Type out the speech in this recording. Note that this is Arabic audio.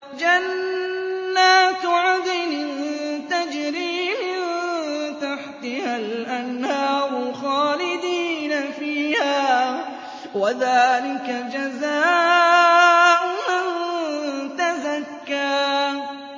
جَنَّاتُ عَدْنٍ تَجْرِي مِن تَحْتِهَا الْأَنْهَارُ خَالِدِينَ فِيهَا ۚ وَذَٰلِكَ جَزَاءُ مَن تَزَكَّىٰ